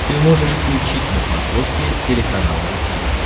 ты можешь включить на смотрешке телеканал ру ти ви